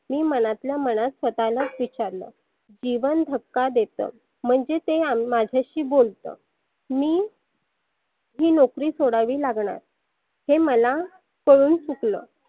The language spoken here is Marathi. मी मनातल्या मनात स्वतःलाच विचारल. जीवन धक्का देतं म्हणजे ते अंग माझ्याशी बोलतं. मी ही नोकरी सोडावी लागनार. हे मला कळून चुकलं.